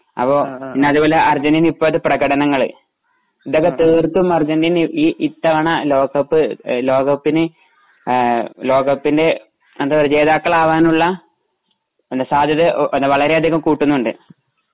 അപ്പൊ പിന്നെ അതുപോലെ അര്ജന്റീന ഇപ്പോഴുള്ള പ്രകടനങ്ങള് ഇതൊക്കെ തീർത്തും അര്ജന്റീന ഈ ഇത്തവണ ലോകകപ്പ് ലോകകപ്പിന് ലോകകപ്പിന്റെ എന്താ പറയാ ജോതാക്കളാകാനുള്ള സാധ്യത വളരെ അധികം കൂട്ടുന്നുണ്ട്.